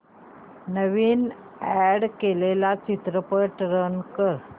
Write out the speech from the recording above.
नवीन add केलेला चित्रपट run कर